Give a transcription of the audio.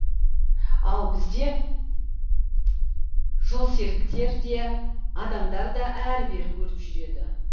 ал бізде жолсеріктер де адамдар да әрі бері өріп жүреді